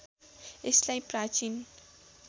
यसलाई प्राचीन